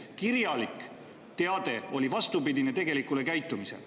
Kirjalik teade oli vastupidine tegelikule käitumisele.